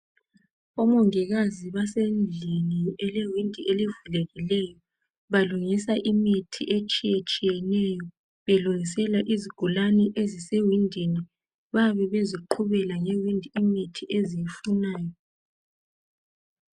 Omongikazi basendlini elewindi elivulekileyo balungisa imithi etshiyetshiyeneyo belungisela izigulani ezisewindini bayabe beziqhubela eminye imithi eziyifunayo